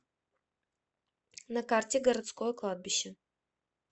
на карте городское кладбище